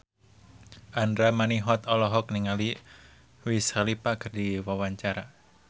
Andra Manihot olohok ningali Wiz Khalifa keur diwawancara